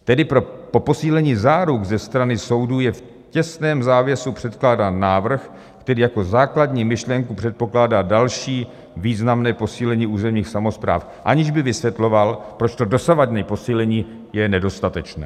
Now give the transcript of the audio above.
Tedy pro posílení záruk ze strany soudů je v těsném závěsu předkládán návrh, který jako základní myšlenku předpokládá další významné posílení územních samospráv, aniž by vysvětloval, proč to dosavadní posílení je nedostatečné.